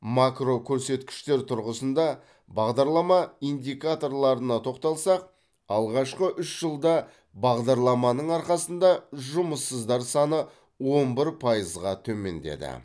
макрокөрсеткіштер тұрғысында бағдарлама индикаторларына тоқталсақ алғашқы үш жылда бағдарламаның арқасында жұмыссыздар саны он бір пайызға төмендеді